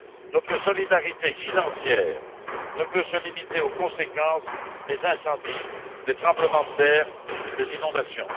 Notre solidarité financière ne peut se limiter aux conséquences des incendies, des tremblements de terre et des inondations.